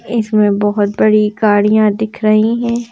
इसमें बहुत बड़ी गाड़ियां दिख रही हैं।